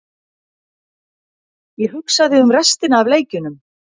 Ég hugsaði um restina af leikjunum.